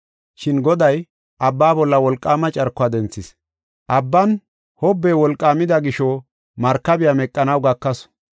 Shin Goday abba bolla wolqaama carkuwa denthis. Abban wolqaama hobbey wolqaamida gisho markabiya meqanaw gakasu.